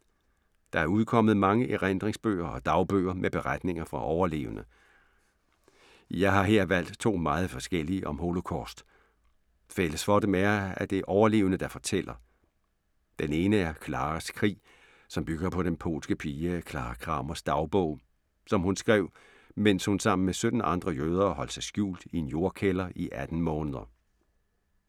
Der er udkommet mange erindringsbøger og dagbøger med beretninger fra overlevende. Jeg har her valgt to meget forskellige om Holocaust. Fælles for dem er, at det er overlevende, der fortæller. Den ene er Claras krig, som bygger på den polske pige Clara Kramers dagbog, som hun skrev, mens hun sammen med 17 andre jøder holdt sig skjult i en jordkælder i 18 måneder.